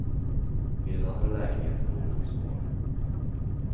I den andra lägenheten bor hans far.